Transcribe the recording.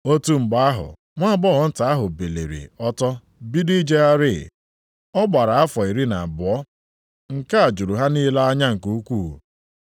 Otu mgbe ahụ nwaagbọghọ nta ahụ biliri ọtọ bido ijegharị (ọ gbara afọ iri na abụọ). Nke a jụrụ ha niile anya nke ukwuu.